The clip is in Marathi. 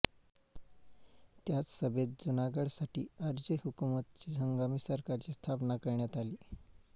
त्याच सभेत जुनागडसाठी आरज़ी हुकूमतची हंगामी सरकारची स्थापना करण्यात आली